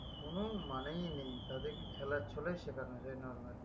কোন মানেই নেই তাদের কে খেলার ছলেও শেখানো যাই normally